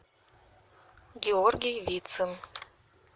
георгий вицин